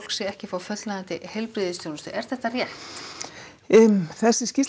sig ekki fá fullnægjandi heilbrigðisþjónustu er það rétt þessi skýrsla